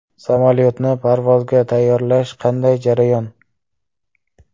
Samolyotni parvozga tayyorlash qanday jarayon?